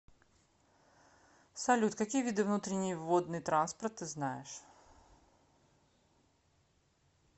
салют какие виды внутренний водный транспорт ты знаешь